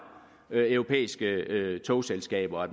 europæiske togselskaber og at